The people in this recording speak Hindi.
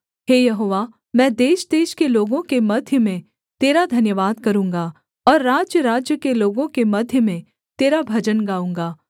हे यहोवा मैं देशदेश के लोगों के मध्य में तेरा धन्यवाद करूँगा और राज्यराज्य के लोगों के मध्य में तेरा भजन गाऊँगा